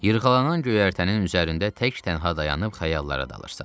Yırğalanan göyərtənin üzərində tək-tənha dayanıb xəyallara dalırsan.